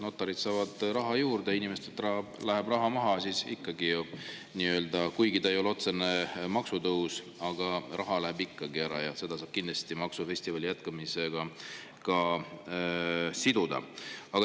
Kui notarid saavad raha juurde, inimestelt läheb raha maha, siis kuigi see ei ole otsene maksutõus, aga raha läheb ikkagi ära, ja seda saab kindlasti maksufestivali jätkumisega siduda.